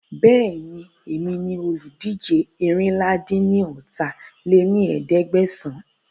Bẹ́ẹ̀ni, èmi ni olùdíje eérinlá-dín-ní-ọ́ta lé ní ẹ̀ẹ́dẹ́gbẹ́sán